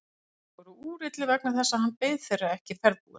Þeir voru úrillir vegna þess að hann beið þeirra ekki ferðbúinn.